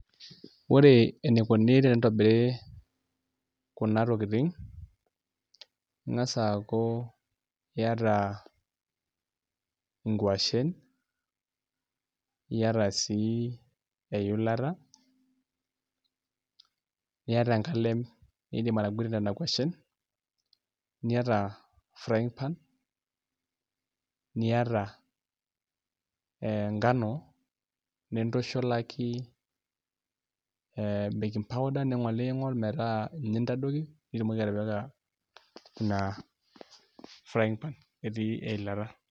Ore enikuni tenitobiri kuna tokitin ing'as aaku iata nkuashen niata sii eilata niata enkalem niidim ataguatie nena kuashen niata frying pan niata ngano nintushulaki ee baking powder ning'oling'ol metaa ninye intadoiki pee itumoki atipika ina frying pan etii eilata.